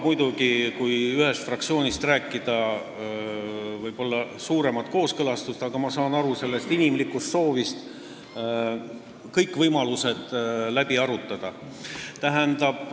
Kui ühest fraktsioonist rääkida, siis see nõuaks muidugi suuremat kooskõlastust, aga ma saan aru inimlikust soovist kõik võimalused läbi arutada.